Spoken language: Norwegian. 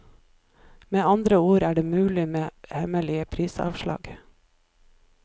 Med andre ord er det mulig med hemmelige prisavslag.